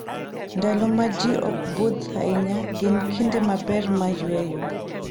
Ndalo ma ji ok budh ahinya gin kinde maber mar yueyo.